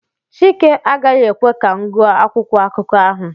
chike agaghị ekwe ka m gụọ akwụkwọ akụkọ ahụ